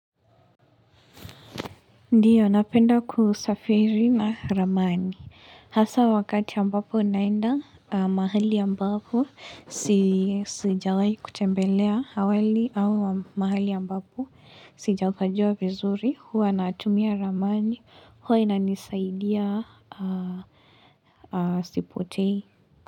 Ndiyo, napenda kusafiri na ramani. Hasa wakati ambapo naenda, mahali ambapo sijawahi kutembelea awali au mahali ambapo sijapajua vizuri huwa natumia ramani huwa inanisaidia sipotei.